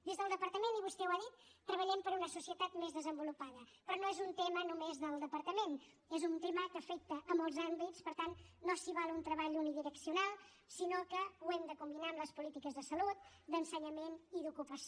des del departament i vostè ho ha dit treballem per una societat més desenvolupada però no és un tema només del departament és un tema que afecta molts àmbits per tant no s’hi val un treball unidireccional sinó que ho hem de combinar amb les polítiques de salut d’ensenyament i d’ocupació